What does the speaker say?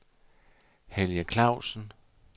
Helge Clausen